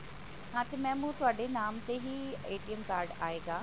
ਹਾ ਤੇ mam ਓਹ ਤੁਹਾਡੇ ਨਾਮ ਤੇ ਹੀ card ਆਏਗਾ